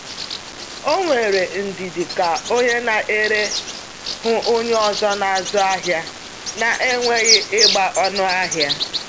O nwere ndidi ka onye na-ere hụ onye ọzọ n'azụ ahịa na-enweghị ịgba ọnụ ahịa.